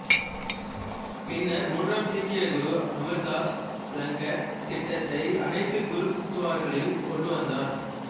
பின்னர் மூன்றாம் சீக்கிய குரு அமர்தாஸ் லங்கர் திட்டத்தை அனைத்து குருத்துவராக்களில் கொண்டு வந்தார்